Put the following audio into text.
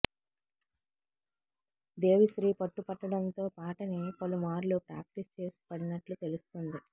దేవీశ్రీ పట్టు పట్టడంతో పాటని పలు మార్లు ప్రాక్టీస్ చేసి పడినట్లు తెలుస్తోంది